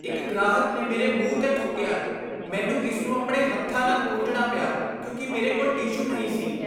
ਇੱਕ ਗ੍ਰਾਹਕ ਨੇ ਮੇਰੇ ਮੂੰਹ 'ਤੇ ਥੁੱਕਿਆ। ਮੈਨੂੰ ਇਸ ਨੂੰ ਆਪਣੇ ਹੱਥਾਂ ਨਾਲ ਪੂੰਝਣਾ ਪਿਆ ਕਿਉਂਕਿ ਮੇਰੇ ਕੋਲ ਟਿਸ਼ੂ ਨਹੀਂ ਸੀ।